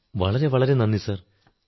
ജീ sir വളരെ വളരെ നന്ദി സർ